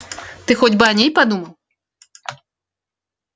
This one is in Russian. ты хоть бы о ней подумал